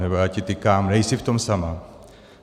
Nebo já ti tykám, nejsi v tom sama.